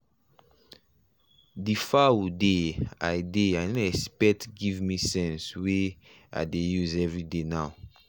the foul dey i dey i no expect give me sense wey i dey use every day now.